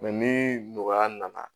ni nɔgɔya nana